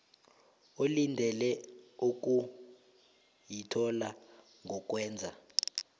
olindele ukuyithola ngokwenza